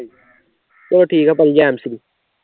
ਚਲੋ ਠੀਕ ਐ ਭਾਜੀ ਜੈਨਸੀ